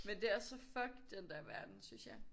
Men det også så fucked den der verden synes jeg